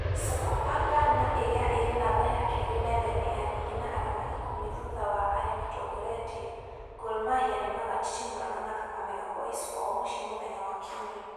Sofapaka na ĩrĩa ĩrĩ namba ya keri metha-inĩ ya rigi na arama ikũmi thutha wa arĩa motongoretie, GorMahia, nĩmagatitimũrana na Kakamega Boys kwao muciĩ mũthenya wa kiumia